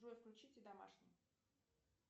джой включите домашний